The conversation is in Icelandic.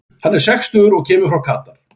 Hann er sextugur og kemur frá Katar.